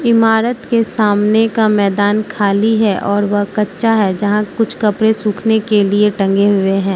इमारत के सामने का मैदान खाली है और वह कच्चा है जहां कुछ कपड़े सूखने के लिए टंगे हुए हैं।